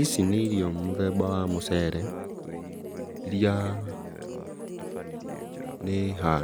Ici nĩ ĩrio mũthemba wa mũcere iria, nĩ,